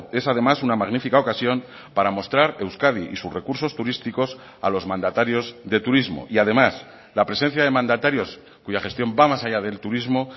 es además una magnífica ocasión para mostrar euskadi y sus recursos turísticos a los mandatarios de turismo y además la presencia de mandatarios cuya gestión va más allá del turismo